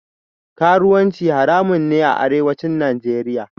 Karuwanci haramun ne a Arewacin Najeriya